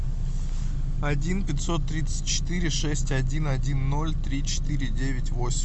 один пятьсот тридцать четыре шесть один один ноль три четыре девять восемь